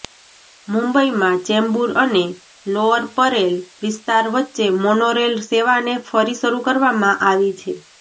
મુંબઈમાં ચેમ્બૂર અને લોઅર પરેલ વિસ્તાર વચ્ચે મોનોરેલ સેવાને ફરી શરૂ કરવામાં આવી છે